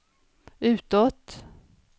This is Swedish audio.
utåt